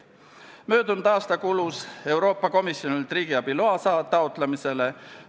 Möödunud aasta kulus Euroopa Komisjonilt riigiabiloa taotlemisele.